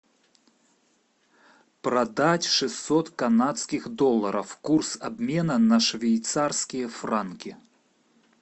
продать шестьсот канадских долларов курс обмена на швейцарские франки